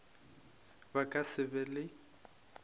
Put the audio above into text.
ba ka se be le